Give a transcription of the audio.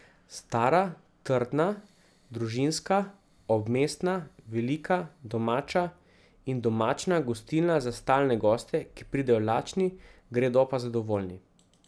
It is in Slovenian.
Stara, trdna, družinska, obmestna, velika, domača in domačna gostilna za stalne goste, ki pridejo lačni, gredo pa zadovoljni.